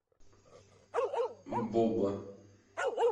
буба